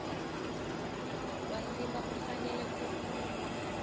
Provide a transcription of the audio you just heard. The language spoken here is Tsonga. wa ndzima wu fanele ku